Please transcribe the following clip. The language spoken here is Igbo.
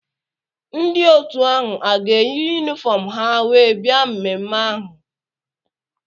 Ndị otu ahụ a ga-eyi yunifọm ha wee bia mmemme ahụ?